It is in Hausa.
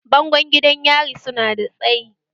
Bango gidan yari su na da tsayi